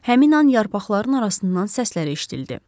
Həmin an yarpaqların arasından səslər eşidildi.